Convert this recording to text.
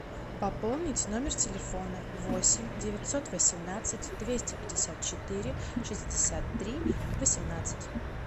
пополнить номер телефона восемь девятьсот восемнадцать двести пятьдесят четыре шестьдесят три восемнадцать